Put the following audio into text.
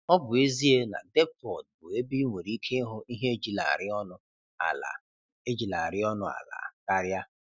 Ọ bụ ezie na Depford bụ ebe ị nwere ike ịhụ ihe ejilarị ọnụ ala ejilarị ọnụ ala karịa.